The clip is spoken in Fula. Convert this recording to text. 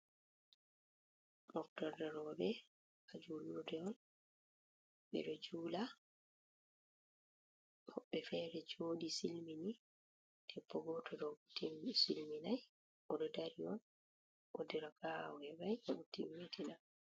Moftorde rowɓe haa juulurde on, ɓe ɗo njuula, woɓɓe feere jooɗi silmini, debbo gooto ɗo silminay, o ɗo dari on, woodi raka'a o heɓay, o ɗo timiitina.